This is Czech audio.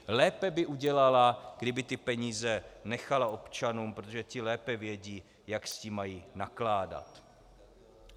Lépe by udělala, kdyby ty peníze nechala občanům, protože ti lépe vědí, jak s tím mají nakládat.